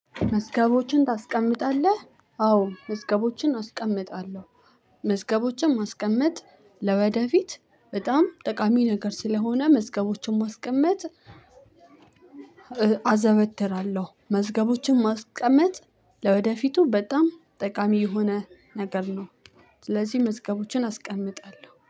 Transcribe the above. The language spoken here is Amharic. መዝገቦችን ታስቀምጣለህ? አዎ መዝገቦችን አስቀምጣለሁ መዝገቦችን ማስቀመጥ ለወደፊት በጣም ጠቃሚ ነገር ስለሆነ መዝገቦችን ማስቀመጥ አዘወትራለሁ መዝገቦችን ማስቀመጥ ለወደፊቱ በጣም ጠቃሚ የሆነ ነገር ነው ስለዚህ መስገቦችን አስቀምጣለሁ